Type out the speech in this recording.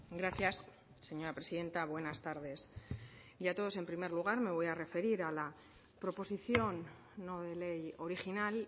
gracias señora presidenta buenas tardes a todos en primer lugar me voy a referir a la proposición no de ley original